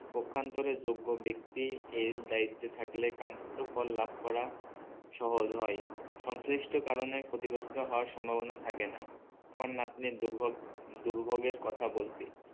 পক্ষান্তরে যোগ্য ব্যাক্তি এই দায়িত্বে থাকলে কান্তিতো লাভ করা সহজ হয় সংশ্লিষ্ট কারণে ক্ষতিগ্রস্থ হওয়ার সম্ভবনা থাকে না। আমার নাতনির দুর্ভোগ দুর্ভোগের কথা বলছি